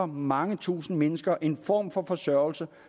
mange tusinde mennesker en form for forsørgelse